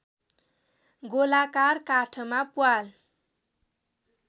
गोलाकार काठमा प्वाल